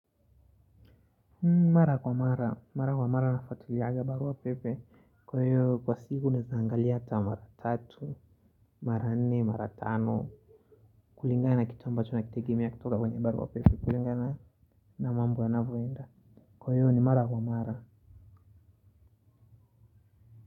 Mara kwa mara. Mara kwa mara na fuatiliaga barua pepe. Kwa hiyo kwa siku nawezaangali hata mara tatu, mara nne, mara tano. Kulingana na kitu ambacho na kitegemea kutoka kwenye barua pepe. Kulingana na mambo ya navyoenda. Kwa hiyo ni mara kwa mara.